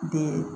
Den